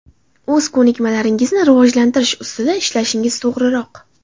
O‘z ko‘nikmalaringizni rivojlantirish ustida ishlashingiz to‘g‘riroq.